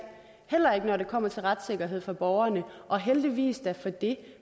heller ikke når det kommer til retssikkerhed for borgerne og heldigvis da for det